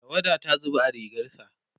tawada ta zuba akan rigarsa